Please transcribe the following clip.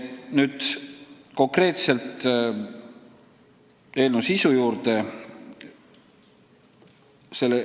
Nüüd konkreetselt eelnõu sisu juurde.